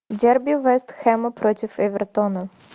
дерби вест хэма против эвертона